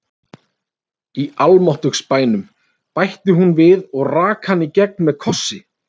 Í almáttugs bænum, bætti hún við og rak hann í gegn með kossi.